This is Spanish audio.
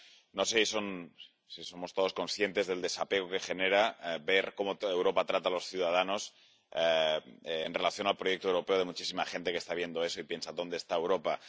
No sé si somos todos conscientes del desapego que genera ver cómo toda Europa trata a los ciudadanos, en relación con el proyecto europeo de muchísima gente que está viendo eso y piensa ¿Dónde está Europa?.